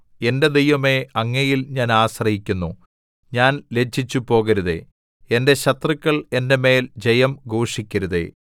എന്റെ ദൈവമേ അങ്ങയിൽ ഞാൻ ആശ്രയിക്കുന്നു ഞാൻ ലജ്ജിച്ചുപോകരുതേ എന്റെ ശത്രുക്കൾ എന്റെ മേൽ ജയം ഘോഷിക്കരുതേ